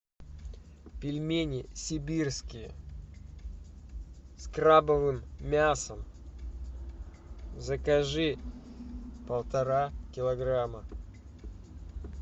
пельмени сибирские с крабовым мясом закажи полтора килограмма